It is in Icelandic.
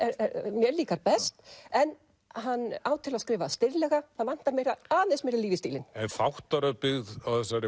mér líkar best en hann á til að skrifa stirðlega það vantar aðeins meira líf í stílinn en þáttaröð byggð á þessari